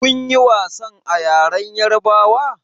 Kun ƴi wasan a ƴaren yarbawa?